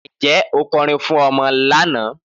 Níjẹ́ o kòrín fún ọmọ lánà?